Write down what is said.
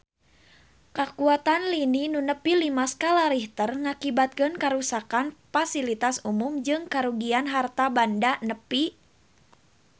Kakuatan lini nu nepi lima skala Richter ngakibatkeun karuksakan pasilitas umum jeung karugian harta banda nepi ka 50 miliar rupiah